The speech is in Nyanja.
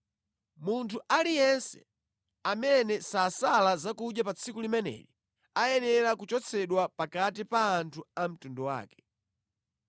Munthu aliyense amene sasala zakudya pa tsiku limeneli ayenera kuchotsedwa pakati pa anthu a mtundu wake.